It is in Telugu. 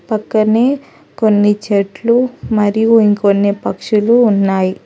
పక్కనే కొన్ని చెట్లు మరియు ఇంకొన్ని పక్షులు ఉన్నాయి.